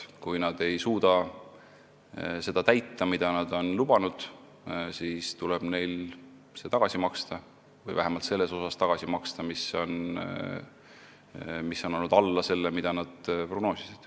Kui nad ei suuda täita seda, mida nad on lubanud, siis tuleb neil tagasi maksta see raha või vähemalt see osa, mis on alla selle, mida nad prognoosisid.